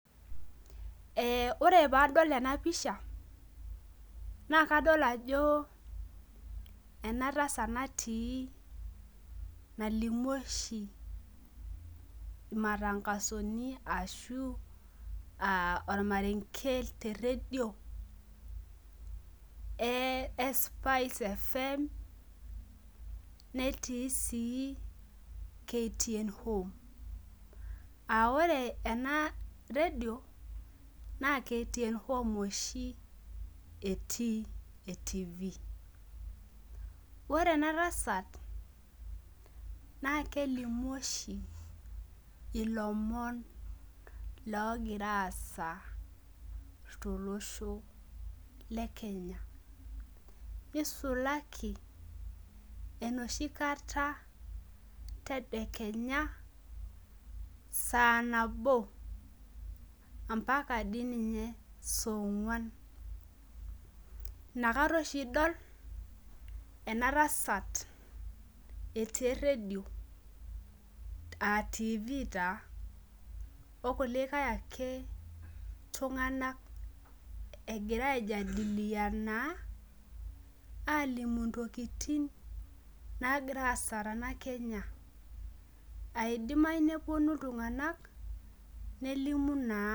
Ore pee adol ena pisha, naa kadol ajo ena tasat natii ashu aa olmarenke,e spice fm,netii sii KTN home.aa ore ena redio naa mtn home oshi etii e tv ore ena tasat naa kelimu oshi ilomon loogira aasa tolosho le kenya. nisulaki enoshi kata tedekenya saa nabo. mpaka dii ninye sooguan. inakata oshi idol ena tasat etii eredio a tv taa okulikae ake tunganak egira aijadiliana aalimu ntokitin naagira aasa tena Kenya.